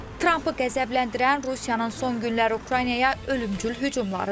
Trampı qəzəbləndirən Rusiyanın son günləri Ukraynaya ölümcül hücumlarıdır.